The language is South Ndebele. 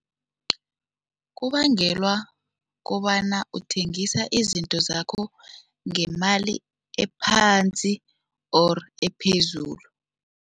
Kubangelwa kobana uthengisa izinto zakho ngemali ephansi or ephezulu.